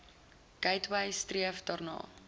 gateway streef daarna